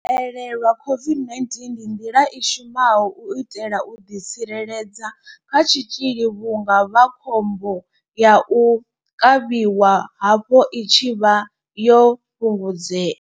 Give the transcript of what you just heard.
U haelelwa COVID-19 ndi nḓila i shumaho u itela u ḓi tsireledza kha tshitzhili vhunga vhakhombo ya u kavhiwa havho i tshi vha yo fhungudzea.